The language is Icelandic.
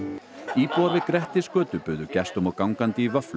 íbúar við Grettisgötu buðu gestum og gangandi í vöfflur